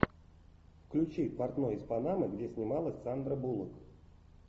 включи портной из панамы где снималась сандра буллок